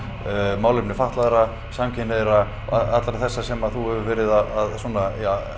málefni fatlaðra samkynhneigðra allra þessara sem þú hefur verið að svona